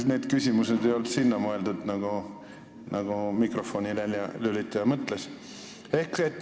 Aga need küsimused ei olnud sellel teemal, nagu mikrofoni väljalülitaja mõtles.